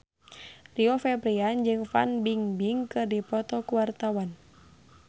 Rio Febrian jeung Fan Bingbing keur dipoto ku wartawan